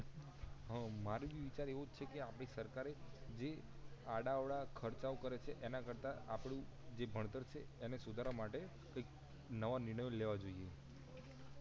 હ મારો બી વિચાર એવો જ છે આપડી સરકારએ જે આડા અવળા ખર્ચા ઓ કરે છે એના કરતાં આપડું જે ભણતર એને સુધારવા માટે કઈક નવા નિર્ણયો લેવા જોઈએ